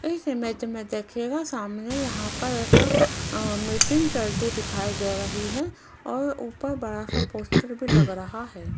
इस इमेज में देखिएगा सामने यहां पर एक मीटिंग चलती दिखाई दे रही है और ऊपर बड़ा सा पोस्टर भी लग रहा है।